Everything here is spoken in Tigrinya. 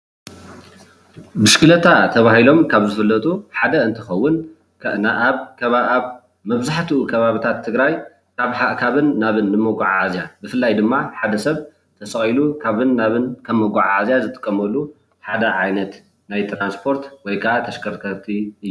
ብሽኬሌታ ተባሂሎም ካብ ዝፍለጡ ሓደ እንትከውን መብዛሕትኡ ከባቢታት ትግራይ ካብን ናብን ንምጉዕዓዝያ ብፍላይ ድማ ሓደ ሰብ ተሰቂሉ ካብን ናብን ከም መጋዓዓዝያ ዝጥቀመሉ ሓደ ዓይነት ናይ ትራንስፖርት ወይ ከዓ ተሽከርከርቲ እዩ፡፡